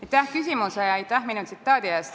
Aitäh küsimuse ja minu tsitaadi eest!